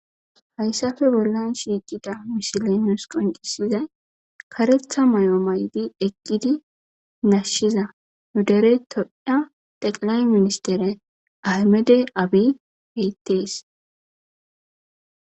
Haysappe bollan shiqida misiley nus qoncisiday karetha mayo mayidi eqida nashiza dere tophiya xeqilay ministere ahmede abiy dees.